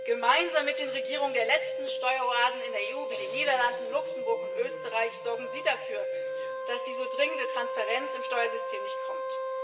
Gemeinsam mit den Regierungen der letzten Steueroasen in der EU wie den Niederlanden, Luxemburg und Österreich sorgen Sie dafür, dass die so dringende Transparenz im Steuersystem nicht kommt.